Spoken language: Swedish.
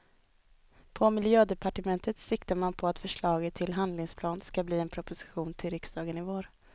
På miljödepartementet siktar man på att förslaget till handlingsplan ska bli en proposition till riksdagen i vår.